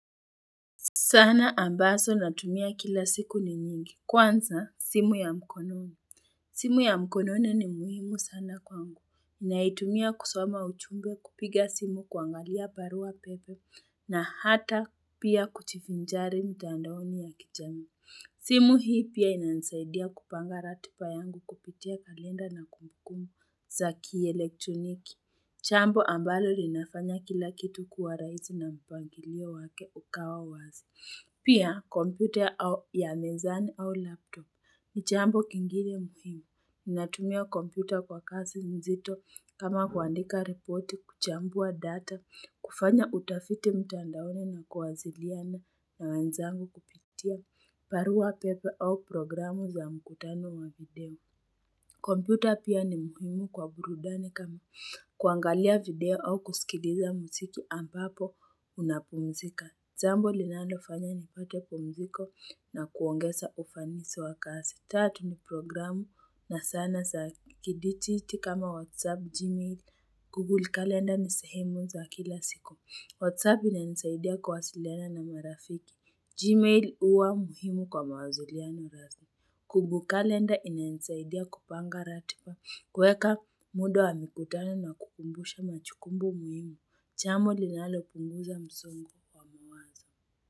Sanaa ambazo natumia kila siku ni nyingi. Kwanza, simu ya mkononi. Simu ya mkonone ni muhimu sana kwangu. Naitumia kusoma ujumbe kupiga simu kuangalia barua pepe na hata pia kujivinjari mtandaoni ya kijamii. Simu hii pia inansaidia kupanga ratiba yangu kupitia kalenda na kumbukumu za kielektroniki. Jambo ambalo linafanya kila kitu kuwa raisi na mpangilio wake ukawa wazi. Pia, kompyuta ya mezani au laptop ni jambo ingine muhimu. Ninatumia kompyuta kwa kazi mzito kama kuandika ripoti kuchambua data kufanya utafiti mtandaoni na kuwasiliana na wenzangu kupitia barua pepe au programu za mkutano wa video. Computer pia ni muhimu kwa burudani kama kuangalia video au kusikiliza muziki ambapo unapumzika. Jambo linalo fanya ni pate pumziko na kuongeza ufanisi wa kazi. Tatu ni programu na sanaa za kiditi kama Whatsapp, Gmail, Google Calendar ni sehemu za kila siku. Whatsapp ina nisaidia kuwasiliana na marafiki. Gmail uwa muhimu kwa mawaziliano rasmi. Kumbu kalenda inainsaidia kupanga ratiba. Kuweka muda wa mikutano na kukumbusha majukumu muhimu. Jambo linalo punguza msongo wa mawazo.